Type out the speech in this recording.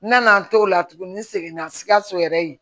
N nana n t'o la tugun n seginna sikaso yɛrɛ ye